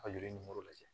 A joli nimoro lajɛ